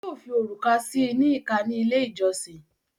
Yóò fi òrùka síi ní ìká ni ilé ìjọsìn